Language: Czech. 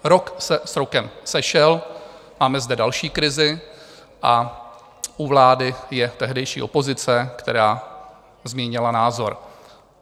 Rok se s rokem sešel, máme zde další krizi a u vlády je tehdejší opozice, která změnila názor.